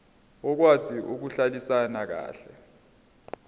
okwazi ukuhlalisana kahle